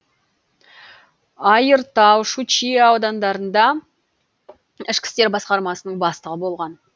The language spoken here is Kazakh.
айыртау щучье аудандарында ішкі істер басқармасының бастығы болған